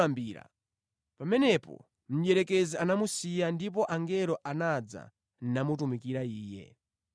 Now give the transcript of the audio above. Pamenepo mdierekezi anamusiya ndipo angelo anamutumikira Iye.